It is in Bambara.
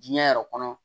Diɲɛ yɛrɛ kɔnɔ